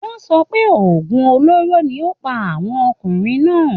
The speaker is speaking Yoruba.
wọ́n sọ pé òògùn olóró ni ó pa àwọn ọmọkùnrinn náà